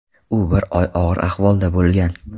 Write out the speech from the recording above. U bir oy og‘ir ahvolda bo‘lgan.